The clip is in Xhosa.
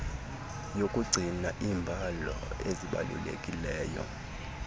yokugcina iimbalo ezibalulekileyo